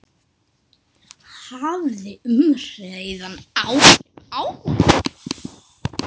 Hafði umræðan áhrif á hana?